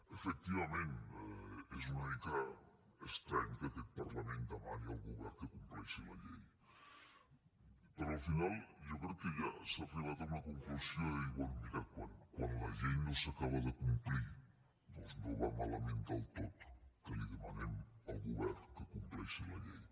efectivament és una mica estrany que aquest parlament demani al govern que compleixi la llei però al final jo crec que ja s’ha arribat a una conclusió de dir bé mira quan la llei no s’acaba de complir doncs no va malament del tot que li demanem al govern que compleixi la llei